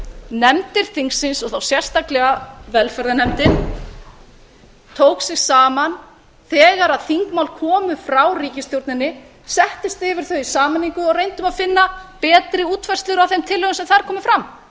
nefndir þingsins og þá sérstaklega velferðarnefndin tók sig saman þegar þingmál komu frá ríkisstjórninni settist yfir þau í sameiningu og reyndum að finna betri útfærslur á þeim tillögum sem þar komu fram